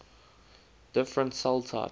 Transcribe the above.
different cell types